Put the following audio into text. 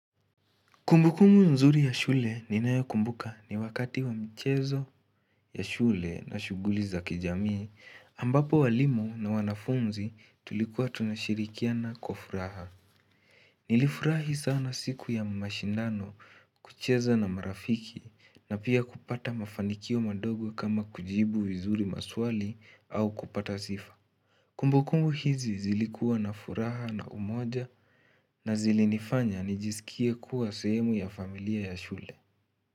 Kumbukumu nzuri ya shule ninayo kumbuka ni wakati wa mchezo ya shule na shughuli za kijamii ambapo walimu na wanafunzi tulikuwa tunashirikiana kwa furaha. Nilifurahi sana siku ya mashindano kucheza na marafiki na pia kupata mafanikio madogo kama kujibu vizuri maswali au kupata sifa. Kumbukumbu hizi zilikuwa na furaha na umoja na zilinifanya nijisikie kuwa sehemu ya familia ya shule.